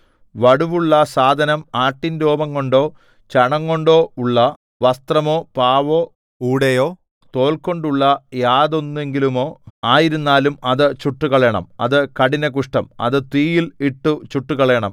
വടുവുള്ള സാധനം ആട്ടിൻരോമംകൊണ്ടോ ചണംകൊണ്ടോ ഉള്ള വസ്ത്രമോ പാവോ ഊടയോ തോൽകൊണ്ടുള്ള യാതൊന്നെങ്കിലുമോ ആയിരുന്നാലും അത് ചുട്ടുകളയണം അത് കഠിന കുഷ്ഠം അത് തീയിൽ ഇട്ടു ചുട്ടുകളയണം